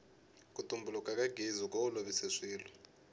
ku tumbuluka ka gezi ku olovise swilo